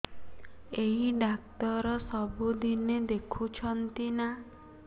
ଏଇ ଡ଼ାକ୍ତର ସବୁଦିନେ ଦେଖୁଛନ୍ତି ନା